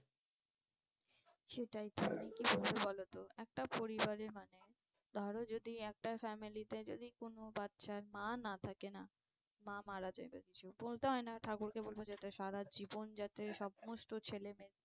সেটাই তো কি বলি বলতো একটা পরিবারের মানে ধরো যদি একটা family তে যদি কোনো বাচ্চার মা না থাকে না মা মারা যায় বলতে হয় না ঠাকুর কে বলবো যাতে সারাজীবন যাতে সমস্ত ছেলে মেয়ে